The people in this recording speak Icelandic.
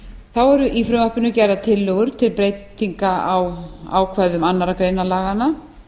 þá eru í frumvarpinu gerðar tillögur til breytinga á ákvæðum annarri grein laganna